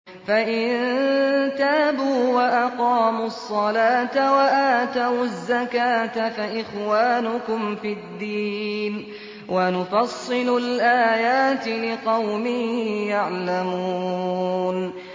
فَإِن تَابُوا وَأَقَامُوا الصَّلَاةَ وَآتَوُا الزَّكَاةَ فَإِخْوَانُكُمْ فِي الدِّينِ ۗ وَنُفَصِّلُ الْآيَاتِ لِقَوْمٍ يَعْلَمُونَ